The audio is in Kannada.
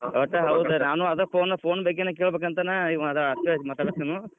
ಅದಕ್ ಹೌದ್ ನಾನೂ phone ಬಗ್ಗೇನ್ ಕೇಳಬೇಕಂತನ್, ಈಗ ಅದ್ಕ ಹಚ್ಚಿ ಮಾತಾಡತೇನೂ.